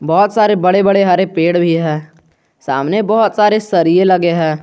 बहोत सारे बड़े बड़े हरे पेड़ भी है सामने बहोत सारे सरिये लगे हैं।